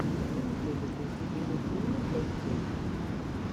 три медведя песни и мультфильмы для детей